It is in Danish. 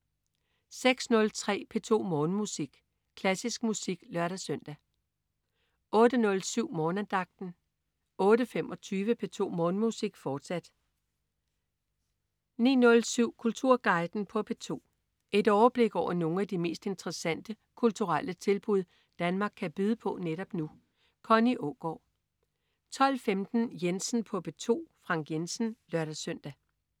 06.03 P2 Morgenmusik. Klassisk musik (lør-søn) 08.07 Morgenandagten 08.25 P2 Morgenmusik, fortsat 09.07 Kulturguiden på P2. Et overblik over nogle af de mest interessante kulturelle oplevelser Danmark kan byde på netop nu. Connie Aagaard 12.15 Jensen på P2. Frank Jensen (lør-søn)